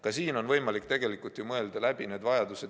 Ja siin on võimalik igaühe vajadused läbi mõelda.